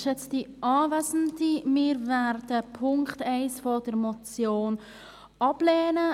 Wir werden den Punkt 1 der Motion ablehnen.